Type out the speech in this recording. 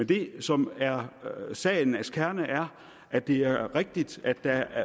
det som er sagens kerne er at det er rigtigt at der